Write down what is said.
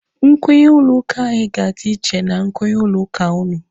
Nkwenye ụlọ ụka anyị ga-adị iche na nkwenye ụlọ ụka ụnụ.